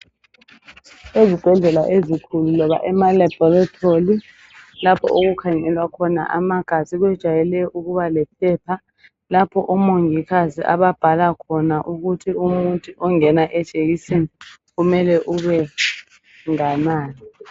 Ezibhedlela ezikhulu loba emalaboratoli lapho okukhangelwa khona amagazi kujwayele ukuba lephepha lapho omongikazi ababhala khona ukuthi umuthi ongena ejekiseni umele ube nganani.